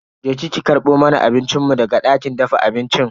Je ki ki karbo mana abincin mu daga dakin dafa abincin.